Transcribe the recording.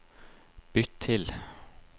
bytt til